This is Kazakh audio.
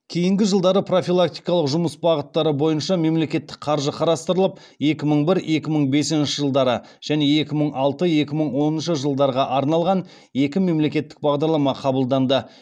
кейінгі жылдары профилактикалық жұмыс бағыттары бойынша мемлекеттік қаржы қарастырылып екі мың бір екі мың бесінші жылдары және екі мың алты екі мың оныншы жылдарға арналған екі мемлекеттік бағдарлама қабылданды